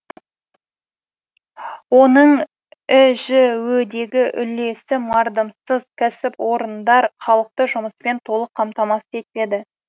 оның іжө дегі үлесі мардымсыз кәсіпорындар халықты жұмыспен толық қамтамасыз етпеді